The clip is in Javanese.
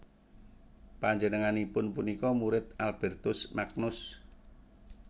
Panjenenganipun punika murid Albertus Magnus